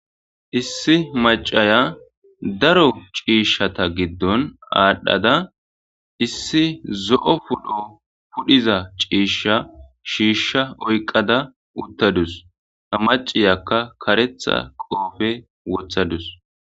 Issi macaya daro ciishshata giddon aadhdhada issi zo'o pudho pudhiza ciishsha shiishsha oyqqada uttadus ha maciyakka kareththa qoofe wothadus